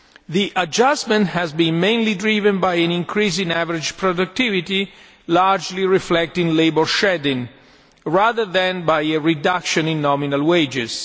The adjustment has been mainly driven by an increase in average productivity, largely reflecting labour shedding, rather than by a reduction in nominal wages.